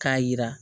K'a yira